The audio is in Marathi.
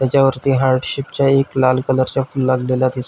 त्याच्या वरती हार्ट शीप च्या एक लाल कलर च्या फुल लागलेले दिस --